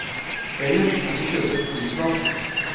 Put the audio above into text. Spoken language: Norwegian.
Ellers kan du kjøpe et flypass eller leie bil. punktum